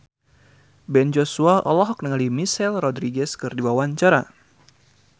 Ben Joshua olohok ningali Michelle Rodriguez keur diwawancara